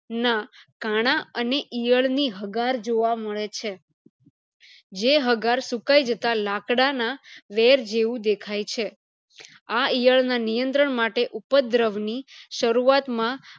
ના કાના અને ઈયળ ની હગાર જોવા મળે છે જે હગાર સુકાય જતા લાકડાના વેર જેવું દેખાય છે આ ઈયળ ના નિયંત્રણ માટે ઉપદ્રવ ની શરૂવાત માં